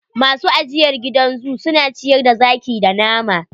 Masu ajiyr gidan zoo su na ciyar da zaki da nama.